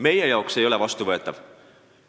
Meie jaoks ei ole see vastuvõetav.